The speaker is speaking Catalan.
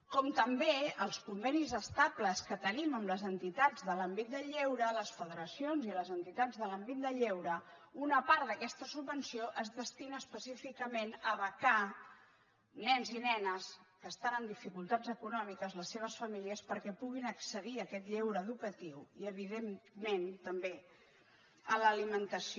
com també els convenis estables que te·nim amb les entitats de l’àmbit del lleure les federaci·ons i les entitats de l’àmbit del lleure una part d’aques·ta subvenció es destina específicament a becar nens i nenes que estan en dificultats econòmiques les seves famílies perquè puguin accedir a aquest lleure educa·tiu i evidentment també a l’alimentació